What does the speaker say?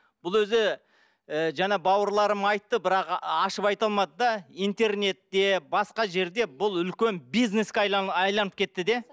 бұл өзі і жаңа бауырларым айтты бірақ ашып айта алмады да интернетте басқа жерде бұл үлкен бизнеске айналып кетті де